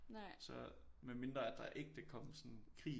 Så med mindre at der ægte kom sådan krig